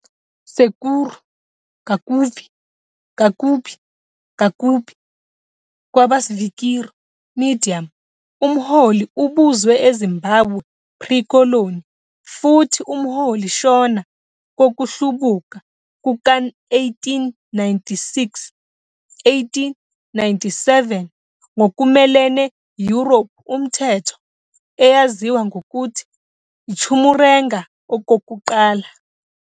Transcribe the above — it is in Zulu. Sekuru Kaguvi, Kagubi, Kakubi, kwaba "svikiro", medium, umholi ubuzwe eZimbabwe pre-koloni, futhi umholi Shona kokuhlubuka kuka-1896-1897 ngokumelene European umthetho, eyaziwa ngokuthi i-Chimurenga Okokuqala.